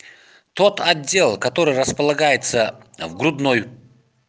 тот отдел который располагается в грудной